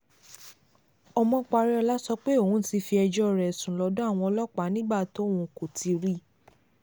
ọmọparíọlá sọ pé òun ti fi ẹjọ́ rẹ̀ sùn lọ́dọ̀ àwọn ọlọ́pàá nígbà tóun kò ti rí i